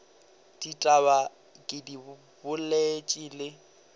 ditaba ke di boletše le